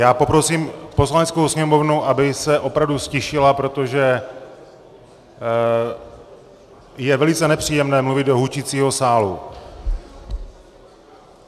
Já poprosím Poslaneckou sněmovnu, aby se opravdu ztišila, protože je velice nepříjemné mluvit do hučícího sálu.